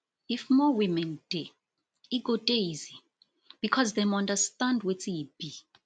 if more women dey e go dey easy because dem understand wetin e be